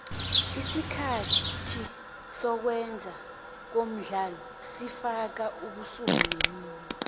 isikhathi sokwenze komdlalo sifaka ubusuku nemini